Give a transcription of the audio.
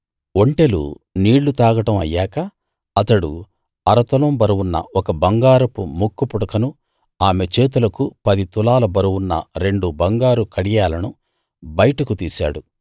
ఒంటెలు నీళ్ళు తాగడం అయ్యాక అతడు అరతులం బరువున్న ఒక బంగారపు ముక్కుపుడకను ఆమె చేతులకు పది తులాల బరువున్న రెండు బంగారు కడియాలను బయటకు తీశాడు